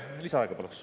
Lisaaega paluks.